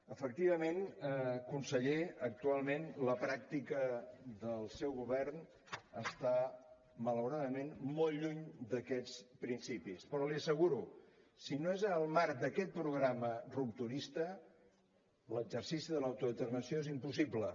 efectivament conseller actualment la pràctica del seu govern està malauradament molt lluny d’aquests principis però l’hi asseguro si no és al marc d’aquest programa rupturista l’exercici de l’autodeterminació és impossible